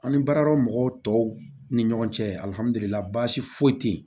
An ni baaradɔ mɔgɔw tɔw ni ɲɔgɔn cɛ alihamudulila baasi foyi te yen